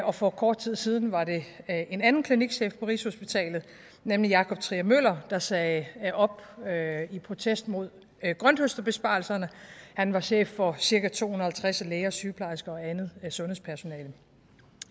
og for kort tid siden var det en anden klinikchef på rigshospitalet nemlig jakob trier møller der sagde op i protest mod grønthøsterbesparelserne han var chef for cirka to hundrede og halvtreds læger og sygeplejersker og andet sundhedspersonale og